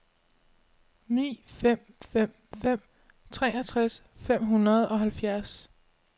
ni fem fem fem treogtres fem hundrede og halvfjerds